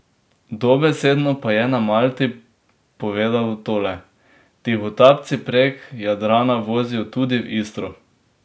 Dobesedno pa je na Malti povedal tole: "Tihotapci prek Jadrana vozijo tudi v Istro.